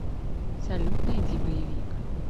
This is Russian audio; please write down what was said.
салют найди боевик